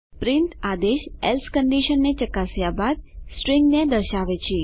print આદેશ else કંડીશનને ચકાસ્યા બાદ સ્ટ્રીંગને દર્શાવે છે